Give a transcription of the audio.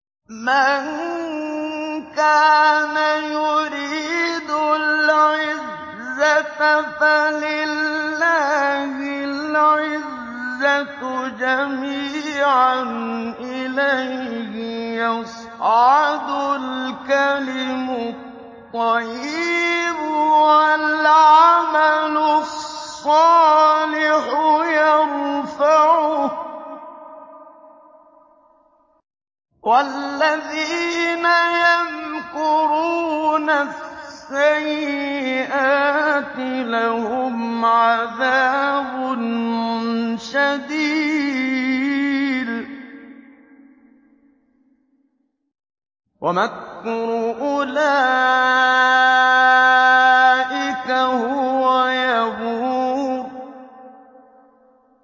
مَن كَانَ يُرِيدُ الْعِزَّةَ فَلِلَّهِ الْعِزَّةُ جَمِيعًا ۚ إِلَيْهِ يَصْعَدُ الْكَلِمُ الطَّيِّبُ وَالْعَمَلُ الصَّالِحُ يَرْفَعُهُ ۚ وَالَّذِينَ يَمْكُرُونَ السَّيِّئَاتِ لَهُمْ عَذَابٌ شَدِيدٌ ۖ وَمَكْرُ أُولَٰئِكَ هُوَ يَبُورُ